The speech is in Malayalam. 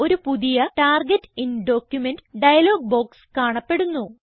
ഒരു പുതിയ target in document dialog box കാണപ്പെടുന്നു